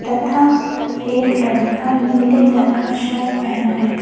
तथा एक लड़का नीले रंग का शर्ट पेहना है।